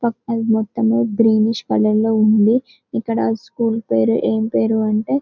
పక్కన మొత్తం greenish colour లో ఉంది ఇక్కడ స్కూల్ పేరు ఎం పేరు అంటే --